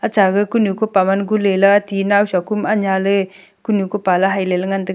acha gaga kunu kupa man gunlela ti nawsa kum anya le kunu kupa lai haile la ngantaga.